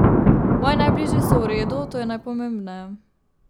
Moji najbližji so v redu, to je najpomembneje.